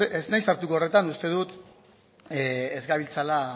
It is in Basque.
ez nahiz sartuko horretan uste dut ez gabiltzala